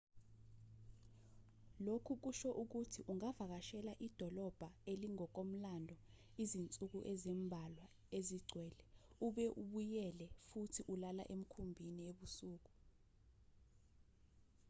lokhu kusho ukuthi ungavakashela idolobha elingokomlando izinsuku ezimbalwa ezigcwele ube ubuyela futhi ulala emkhumbini ebusuku